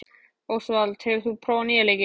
Ósvald, hefur þú prófað nýja leikinn?